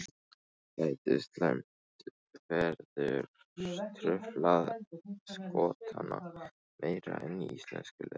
Gæti slæmt veður truflað Skotana meira en íslenska liðið?